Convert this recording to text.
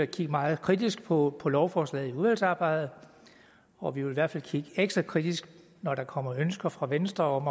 kigge meget kritisk på på lovforslaget i udvalgsarbejdet og vi vil i hvert fald kigge ekstra kritisk når der kommer ønsker fra venstre om